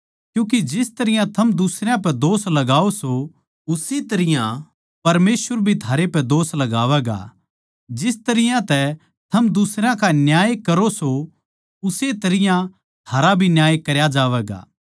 क्यूँके जिस तरियां थम दुसरयां पै इल्जाम लगाओ सों उसी तरियां परमेसवर भी थारै पे भी इल्जाम लगावैगा जिस तरियां तै थम दुसरयां का न्याय करो सों उस्से तरियां थारा भी न्याय करया जावैगा